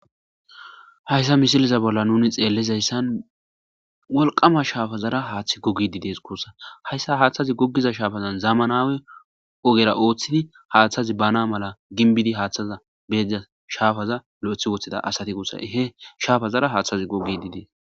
Hayssa misileza bolla nuni xeellizayssan wolqama shaafazara haaththey googidi dees guussa. Hayssa haaththazi goggiza shaapazan zamanaw ogera ooththidi haaththazi baana mala gimbidi haaththaza be diza shaapaza lo'eththi woththida asati guussa. He shapazara haththazi googidi dees.